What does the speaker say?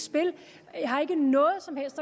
jeg har endnu ikke